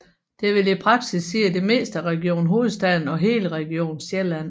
Det vil i praksis sige det meste af Region Hovedstaden og hele Region Sjælland